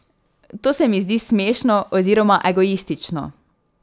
To se mi zdi smešno oziroma egoistično.